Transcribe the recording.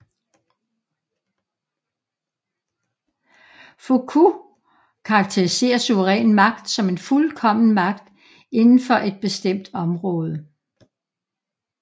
Foucault karaktiserer suveræn magt som en fuldkommen magt inden for et bestemt område